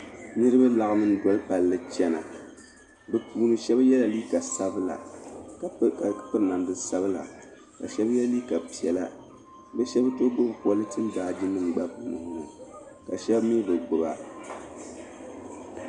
Niribi n laɣim n doli palli n chana bɛ puuni shabi yela liiga sabila ka piri namdi sabila, ka shabi ye liiga piɛla bɛ shabi ,too gbubi polentin baaji nim, gba bi nuhi ni ka shabi mi bi gbuba.